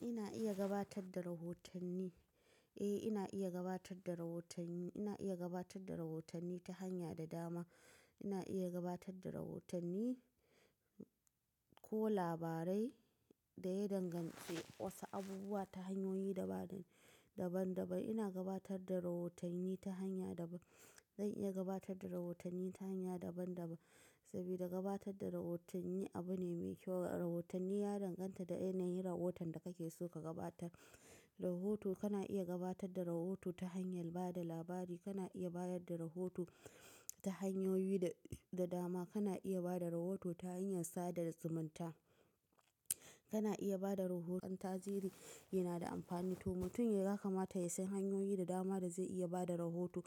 Ina iya gabatad da rahotanni, eh ina iya gabatad da rahotanni, ina iya gabatad da rahotanni ta hanya da dama. Ina iya gabatad da rahotanni ko labarai da ya danganci wasu abubuwa ta hanyoyi daban-daban. Ina gabatad da rahotanni ta hanya daban. Zan iya gabatad da rahotanni ta hanya daban-daban saboda gabatad da rahotanni abu ne mai kyau. Rahotanni ya danganta da yanayin rahoton da kake so ka gabatar. Rahoto kana iya gabatad da rahoto ta hanyar ba da labari, kana iya bayar da rahoto ta hanyoyi da dama. Kana iya ba da rahoto ta hanyar sada da zumunta, kana iya ba da rahoton tarihi yana da amfani to mutum ya kamata ya san hanyoyi da dama da zai iya ba da rahoto.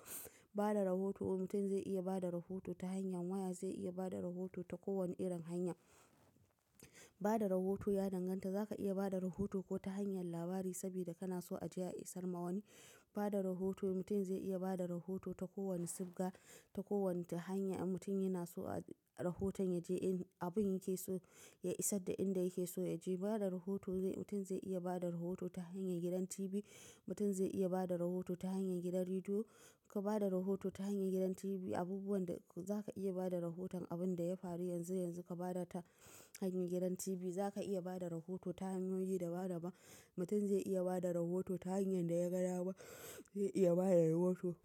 Ba da rahoto mutum zai iya ba da rahoto ta hanyar waya, zai iya ba da rahoto ta kowane irin hanya. Ba da rahoto ya danganta za ka iya ba da rahoto ko ta hanyar labari saboda kana so a ji a isar ma wani. Ba da rahoto mutum zai iya ba da rahoto ta kowane sibga, ta kowace hanya in mutum yana so rahoton ya je abin yake so ya isad da inda yake so ya je. Ba da rahoto zai mutum zai iya ba da rahoto ta hanyar gidan TV, mutum zai iya ba da rahoto ta hanyar gidan rediyo. Ka ba da rahoto ta hanyar gidan TV abubuwan da za ka iya bada rahoton abin da ya faru yanzu yanzu ka bada ta hanyar gidan TV. Za ka iya bada rahoto ta hanyoyi daban-daban. Mutum zai iya bada rahoto ta hanyar da ya ga dama zai iya bada rahoto.